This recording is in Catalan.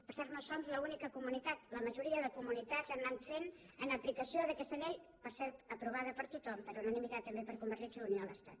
per cert no som l’única comunitat la majoria de comunitats ho han anat fent en aplicació d’aquesta llei per cert aprovada per tothom per unanimitat també per convergència i unió a l’estat